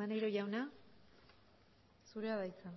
maneiro jauna zurea da hitza